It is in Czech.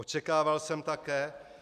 Očekával jsem také -